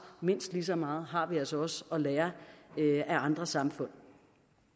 mindst lige så meget har vi altså også at lære af andre samfund